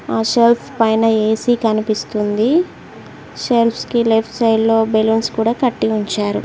ఆ షెల్ఫ్ పైన ఏ_సి కనిపిస్తుంది షెల్ఫ్స్ కి లెఫ్ట్ సైడ్ లో బెలూన్స్ కూడా కట్టి ఉంచారు.